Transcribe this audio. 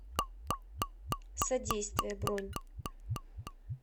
содействие бронь